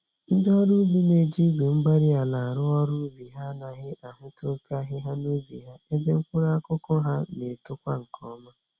Ndị ọrụ ubi na-eji Igwe-mgbárí-ala arụ ọrụ ubi ha anaghị ahụta oké ahịhịa n'ubi ha, ebe mkpụrụ akụkụ ha N'etokwa nkè ọma